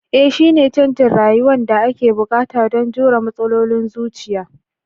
Ee shine canjin rayuwa da ake buƙata don jure matsalolin zuciya